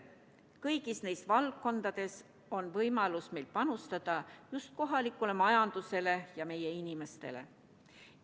Kõigis neis valdkondades on meil võimalus panustada just kohalikule majandusele ja meie inimestele.